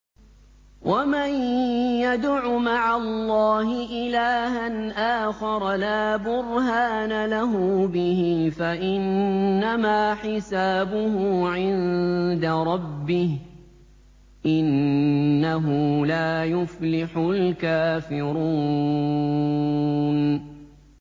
وَمَن يَدْعُ مَعَ اللَّهِ إِلَٰهًا آخَرَ لَا بُرْهَانَ لَهُ بِهِ فَإِنَّمَا حِسَابُهُ عِندَ رَبِّهِ ۚ إِنَّهُ لَا يُفْلِحُ الْكَافِرُونَ